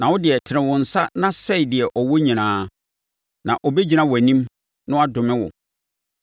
Na wo deɛ, tene wo nsa na sɛe deɛ ɔwɔ nyinaa, na ɔbɛgyina wʼanim na wadome wo.”